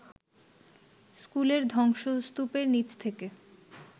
স্কুলের ধ্বংসস্তূপের নিচ থেকে